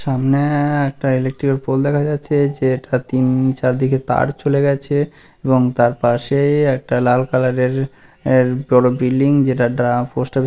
সামনে-এ-এ একটা ইলেকট্রিক -এর পোল দেখা যাচ্ছে যে এটা তিন-ন চারদিকে তার চলে গেছে এবং তার পাশে-এ-ই একটা লাল কালার -এর এর এর বড়ো বিল্ডিং যেটার ড্রা পোস্ট অফ --